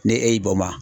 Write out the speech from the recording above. Ne e y'i bɔ ma